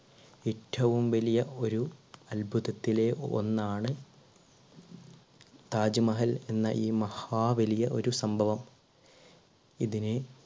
ഏറ്റവും വലിയ ഒരു അത്ഭുതത്തിലെ ഒന്നാണ് താജ്മഹൽ എന്ന ഈ മഹാ വലിയ ഒരു സംഭവം. ഇതിനെ